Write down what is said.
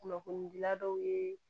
Kunnafonidila dɔw ye